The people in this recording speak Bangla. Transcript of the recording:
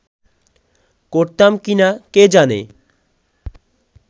করতাম কি না কে জানে